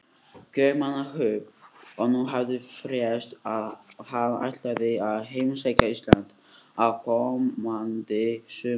Kaupmannahöfn, og nú hafði frést að hann ætlaði að heimsækja Ísland á komandi sumri.